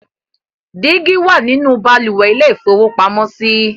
Dígí wà nínú balùwẹ̀ ilé-ìfowópamọ́sí.